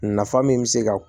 Nafa min bɛ se ka